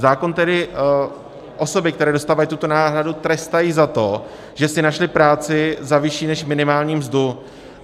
Zákon tedy osoby, které dostávají tuto náhradu, trestá za to, že si našly práci za vyšší než minimální mzdu.